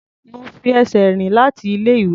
Mo fi ẹsẹ̀ rìn láti ilé-ìwé.